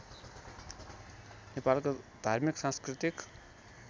नेपालको धार्मिक सांस्कृतिक